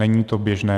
Není to běžné.